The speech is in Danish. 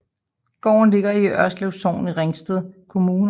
Gården ligger i Ørslev Sogn i Ringsted Kommune